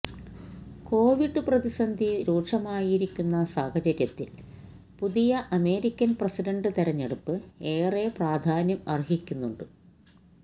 Covid പ്രതിസന്ധി രൂക്ഷമായിരിക്കുന്ന സാഹചര്യത്തില് പുതിയ അമേരിക്കന് പ്രസിഡന്റ് തെരഞ്ഞെടുപ്പ് ഏറെ പ്രധാന്യം അര്ഹിക്കുന്നുണ്ട്